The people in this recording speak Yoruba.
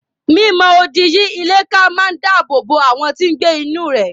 Mi mọ odi yí ilé ká máa dáàbò bo àwọn tí n gbé inú rẹ̀